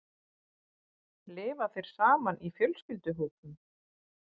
Lifa þeir saman í fjölskylduhópum?